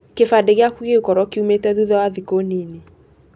Kĩbandĩ gĩaku gĩgũkorwo kĩumĩte thutha wa thikũ nini.